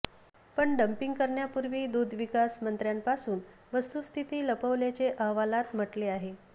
पण डंपिंग करण्यापूर्वी दुग्धविकास मंत्र्यांपासून वस्तुस्थिती लपवल्याचे अहवालात म्हटले आहे